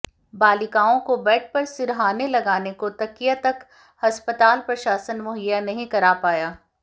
बालिकाओं को बेड पर सिरहाने लगाने को तकिया तक अस्पताल प्रशासन मुहैया नहीं करा पाया